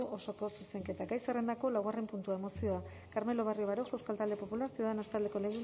osoko zuzenketa gai zerrendako laugarren puntua mozioa carmelo barrio baroja euskal talde popularra ciudadanos taldeko